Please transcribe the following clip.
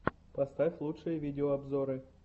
поставь лучшие видеообзоры